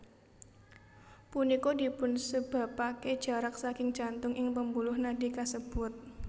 Punika dipunsebapake jarak saking jantung ing pembuluh nadi kasebut